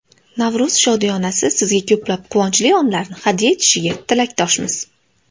Navro‘z shodiyonasi sizga ko‘plab quvonchli onlarni hadya etishiga tilakdoshmiz!